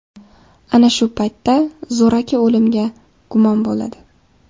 Ana shu paytda zo‘raki o‘limga gumon bo‘ladi.